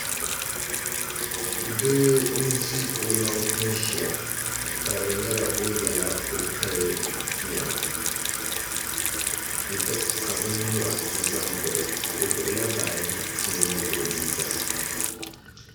Doo n di o maŋa n ziya ka di yɛla o yiɛla o kali nɛma ka bini nyura za n naɣi o o gbubi la baaji mini o liiga .